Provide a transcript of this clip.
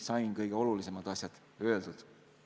Sain kõige olulisemad asjad öeldud.